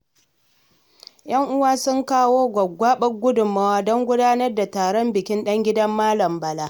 Yan uwa sun kawo gwagwgwaɓar gudunmawa don gudanar da taron bikin ɗan gidan Malam Bala.